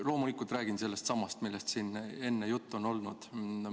Loomulikult räägin sellestsamast, millest siin enne juttu on olnud.